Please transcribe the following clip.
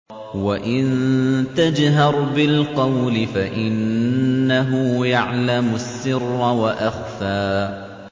وَإِن تَجْهَرْ بِالْقَوْلِ فَإِنَّهُ يَعْلَمُ السِّرَّ وَأَخْفَى